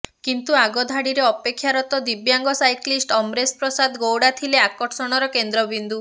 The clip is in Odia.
କିନ୍ତୁ ଆଗଧାଡ଼ିରେ ଅପେକ୍ଷାରତ ଦିବ୍ୟାଙ୍ଗ ସାଇକ୍ଲିଷ୍ଟ୍ ଅମରେଶ ପ୍ରସାଦ ଗୌଡ଼ା ଥିଲେ ଆକର୍ଷଣର କେନ୍ଦ୍ରବିନ୍ଦୁ